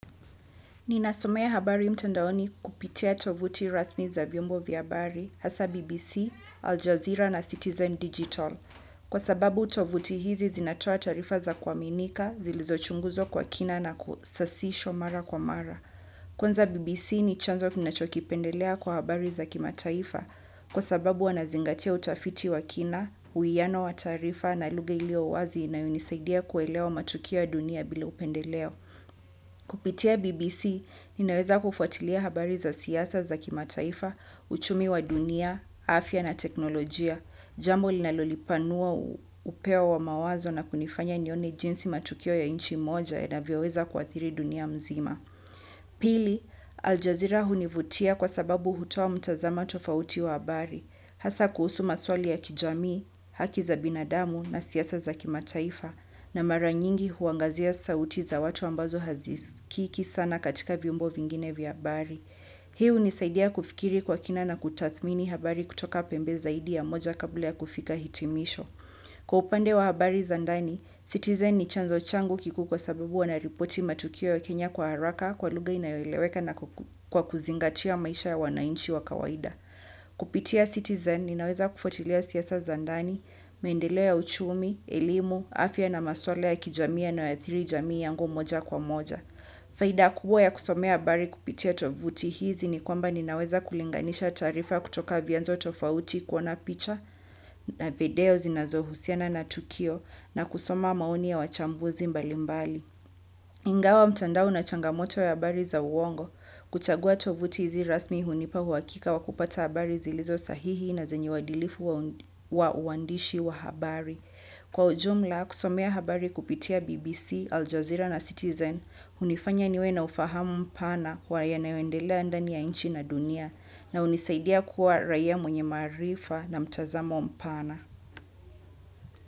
Ni nasomea habari mtandaoni kupitia tovuti rasmi za vyombo vya habari hasa BBC, Al Jazeera na Citizen Digital. Kwa sababu tovuti hizi zinatoa taarifa za kuaminika, zilizochunguzwa kwa kina na kusasishwa mara kwa mara. Kwanza BBC ni chanzo kina choki pendelea kwa habari za kimataifa kwa sababu wanazingatia utafiti wakina, uwiano wa taarifa na luga iliyo wazi inayonisaidia kuelewa matukio ya dunia bila upendeleo. Kupitia BBC, ninaweza kufatilia habari za siasa za kimataifa uchumi wa dunia afya na teknolojia, jambo linalolipanua upeo wa mawazo na kunifanya nione jinsi matukio ya nchi moja yanavyoweza kuathiri dunia mzima. Pili, Al Jazeera hunivutia kwa sababu hutoa mtazama tofauti wa habari, hasa kuhusu maswali ya kijamii, haki za binadamu na siasa za kimataifa, na mara nyingi huangazia sauti za watu ambazo hazisikiki sana katika vyombo vingine vya habari. Hii hunisaidia kufikiri kwa kina na kutathmini habari kutoka pembe zaidi ya moja kabla ya kufika hitimisho. Kwa upande wa habari zandani, Citizen ni chanzo changu kikuu kwasababu wana ripoti matukio ya Kenya kwa haraka, kwa luga inayo eleweka na kwa kuzingatia maisha wananchi wa kawaida. Kupitia Citizen, ninaweza kufatilia siasa za ndani, maendeleo ya uchumi, elimu, afya na maswala ya kijamii yanayo athiri jamii yangu moja kwa moja. Faida kubwa ya kusomea habari kupitia tovuti hizi ni kwamba nininaweza kulinganisha taarifa kutoka vyanzo tofauti kuona picha na video zinazohusiana na tukio na kusoma maoni ya wachambuzi mbali mbali. Ingawa mtandao una changamoto ya habari za uongo, kuchagua tovuti hizi rasmi hunipa huwakika wakupata habari zilizo sahihi na zenye wadilifu wa uandishi wa habari. Kwa ujumla kusomea habari kupitia BBC, Al Jazeera na Citizen, hunifanya niwe na ufahamu mpana kwa ya nayoendelea ndani ya nchi na dunia na hunisaidia kuwa raia mwenye maarifa na mtazamo mpana.